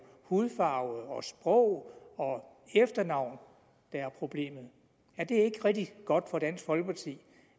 hudfarve sprog og efternavn der er problemet er det ikke rigtig godt for dansk folkeparti